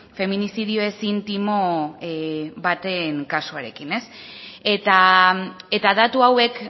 feminizidio ez intimo baten kasuarekin eta datu hauek